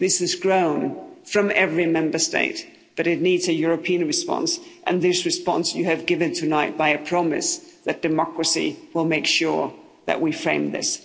This is grown from every Member State but it needs a European response and this response you have given tonight by a promise that democracy will make sure that we frame this.